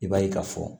I b'a ye ka fɔ